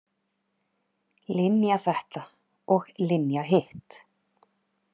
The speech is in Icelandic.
Linja þetta og Linja hitt.